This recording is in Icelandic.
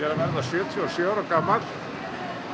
verða sjötíu og sjö ára gamall